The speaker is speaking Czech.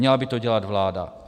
Měla by to dělat vláda.